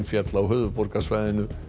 féll á höfuðborgarsvæðinu